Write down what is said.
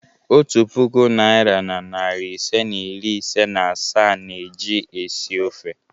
Otu puku naịra na narị ise na iri ise na asaa na-eji esi ofe.